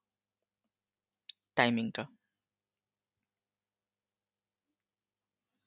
timing টা